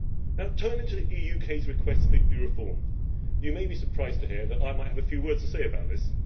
Now turning to the UK's request that you reform, you may be surprised to hear that I have a few words to say about this.